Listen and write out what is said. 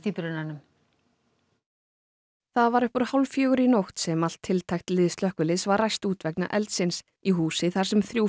í brunanum það var upp úr hálf fjögur í nótt sem allt tiltækt lið slökkviliðs var ræst út vegna eldsins í húsi þar sem þrjú